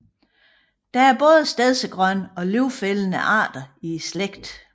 Der er både stedsegrønne og løvfældende arter i slægten